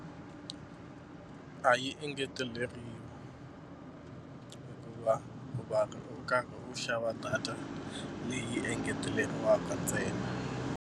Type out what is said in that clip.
A yi engeteleriwi hikuva u va u ri karhi u xava data leyi engeteleriwaka ntsena.